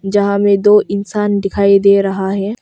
यहां में दो इंसान दिखाई दे रहा है।